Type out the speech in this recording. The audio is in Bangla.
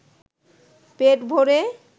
পেট ভরে